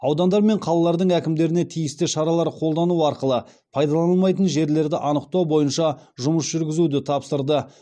аудандар мен қалалардың әкімдеріне тиісті шаралар қолдану арқылы пайдаланылмайтын жерлерді анықтау бойынша жұмыс жүргізуді тапсырды